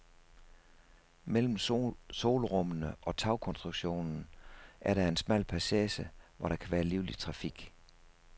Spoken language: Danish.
Mellem solrummene og tagkonstruktionen er der en smal passage, hvor der har været livlig trafik.